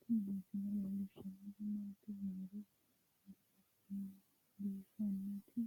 Tini misile leellishshannori maati yiniro biiffannoti